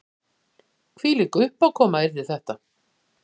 Hvílík uppákoma yrði þetta